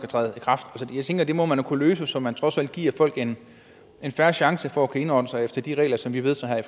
træde i kraft så jeg tænker at det må man kunne løse så man trods alt giver folk en fair chance for at indrette sig efter de regler som vi vedtager